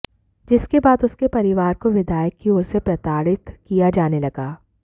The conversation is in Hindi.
जिसके बाद उसके परिवार को विधायक की ओर से प्रताड़ित किया जाने लगा